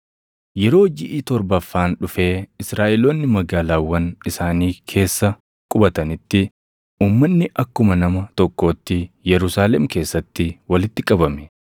Yeroo jiʼi torbaffaan dhufee Israaʼeloonni magaalaawwan isaanii keessa qubatanitti uummanni akkuma nama tokkootti Yerusaalem keessatti walitti qabame.